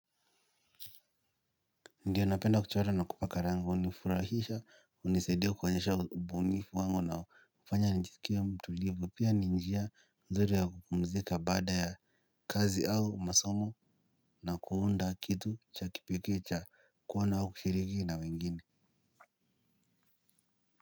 Ndiyo napenda kuchora na kupaka rangi hunifurahisha hunisaidia kuonyesha ubunifu wangu na kufanya nijisikie mtulivu pia ninjia nzuri ya kupumzika baada ya kazi au masomo na kuunda kitu cha kipekeecha kuwana kushiriki na wengine.